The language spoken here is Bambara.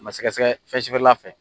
O ma sɛgɛɛsɛgɛ O kasɛ fɛnsubirila fɛ